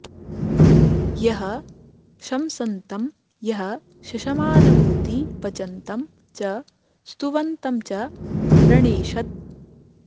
यः शंसन्तं यः शशमानमूती पचन्तं च स्तुवन्तं च प्रणेषत्